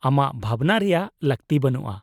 -ᱟᱢᱟᱜ ᱵᱷᱟᱵᱱᱟ ᱨᱮᱭᱟᱜ ᱞᱟᱹᱠᱛᱤ ᱵᱟᱹᱱᱩᱜᱼᱟ ᱾